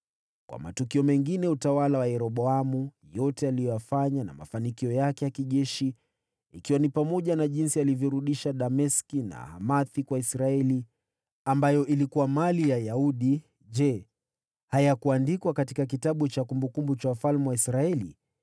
Kwa matukio mengine ya utawala wa Yeroboamu, yote aliyoyafanya na mafanikio yake ya kijeshi, ikiwa ni pamoja na jinsi alivyorudisha Dameski na Hamathi kwa Israeli, ambayo ilikuwa mali ya Yuda, je, hayakuandikwa katika kitabu cha kumbukumbu za wafalme wa Israeli?